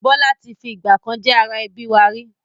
Bọlá tí fi ìgbàkan jẹ́ ara ẹbí wá rí